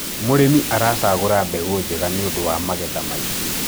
mũrĩmi aracagura mbegũ njega nĩũndũ wa magetha maĩngi